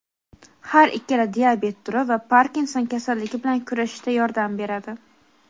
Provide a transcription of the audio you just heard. har ikkala diabet turi va Parkinson kasalligi bilan kurashishda yordam beradi.